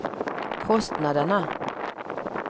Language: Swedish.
kostnaderna